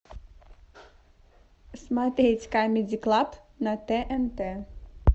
смотреть камеди клаб на тнт